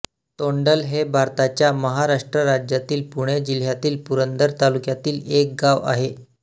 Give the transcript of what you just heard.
तोंडल हे भारताच्या महाराष्ट्र राज्यातील पुणे जिल्ह्यातील पुरंदर तालुक्यातील एक गाव आहे